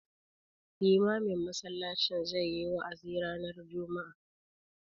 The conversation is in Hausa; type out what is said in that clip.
Limamin masallacin zai yi wa'azi ranar juma'a.